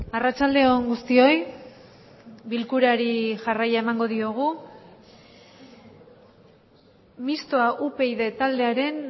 arratsalde on guztioi bilkurari jarraia emango diogu mixtoa upyd taldearen